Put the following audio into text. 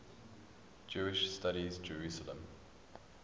jewish studies jerusalem